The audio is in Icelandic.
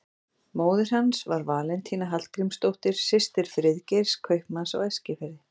Móðir hans var Valentína Hallgrímsdóttir, systir Friðgeirs, kaupmanns á Eskifirði.